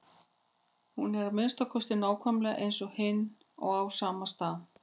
Hún er að minnsta kosti nákvæmlega eins og hin og á sama stað.